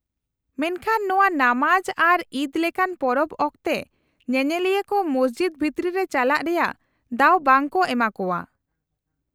-ᱢᱮᱱᱠᱷᱟᱱ ᱱᱚᱶᱟ ᱱᱟᱢᱟᱡ ᱟᱨ ᱤᱫ ᱞᱮᱠᱟᱱ ᱯᱚᱨᱚᱵᱽ ᱚᱠᱛᱮ ᱧᱮᱧᱮᱞᱤᱭᱟᱹ ᱠᱚ ᱢᱚᱥᱡᱤᱫ ᱵᱷᱤᱛᱨᱤ ᱨᱮ ᱪᱟᱞᱟᱜ ᱨᱮᱭᱟᱜ ᱫᱟᱣ ᱵᱟᱝ ᱠᱚ ᱮᱢᱟᱠᱚᱣᱟ ᱾